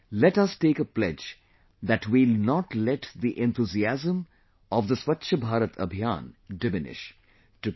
Come, let us take a pledge that we will not let the enthusiasm of Swachh Bharat Abhiyan diminish